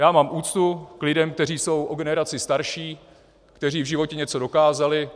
Já mám úctu k lidem, kteří jsou o generaci starší, kteří v životě něco dokázali.